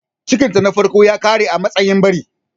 Cikinta na farko ya ƙare a matsayin ɓari.